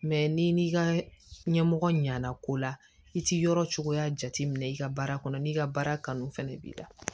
ni n'i ka ɲɛmɔgɔ ɲana ko la i ti yɔrɔ cogoya jateminɛ i ka baara kɔnɔ n'i ka baara kanu fana b'i la